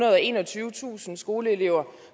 og enogtyvetusind skoleelever